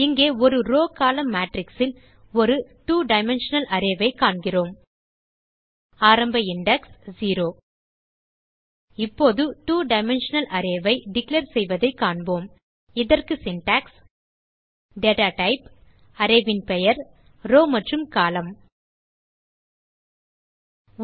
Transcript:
இங்கே ஒரு row column matrixல் ஒரு 2 டைமென்ஷனல் arrayஐ காண்கிறோம் ஆரம்ப இண்டெக்ஸ் 0 இப்போது 2 டைமென்ஷனல் arrayஐ டிக்ளேர் செய்வதைக் காண்போம் இதற்கு Syntax160 data டைப் array பெயர் ரோவ் மற்றும் கோலம்ன்